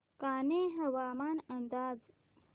कान्हे हवामान अंदाज